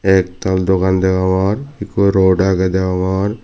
ektal dogan degogor ekku road age degongor.